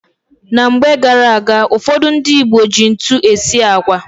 Na mgbe gara-aga, ụfọdụ ndị Igbo ji ntu esi agwa.